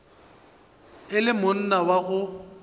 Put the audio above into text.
e le monna wa go